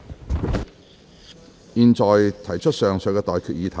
我現在向各位提出上述待決議題。